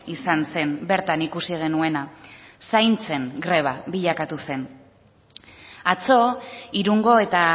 izan zen bertan ikusi genuena zaintzen greba bilakatu zen atzo irungo eta